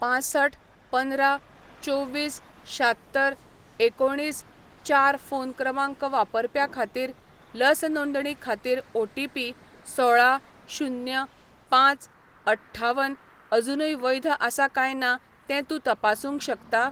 पांसठ पंदरा चोवीस शात्तर एकोणिस चार फोन क्रमांक वापरप्या खातीर लस नोंदणी खातीर ओटीपी सोळा शुन्य पांच अठ्ठावन अजूनय वैध आसा काय ना तें तूं तपासूंक शकता?